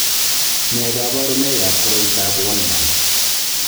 Nee kabarunoikab Koriotoab Wolman?